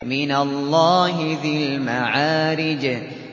مِّنَ اللَّهِ ذِي الْمَعَارِجِ